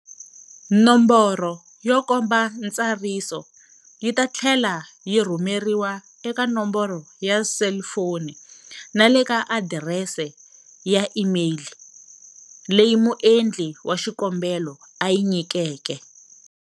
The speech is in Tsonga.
Nomboro yo komba ntsariso yi ta tlhela yi rhumeriwa eka nomboro ya selifoni na le ka adirese ya imeyili leyi muendli wa xikombelo a yi nyikeke.